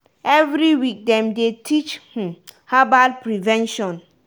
every week dem dey teach um herbal prevention.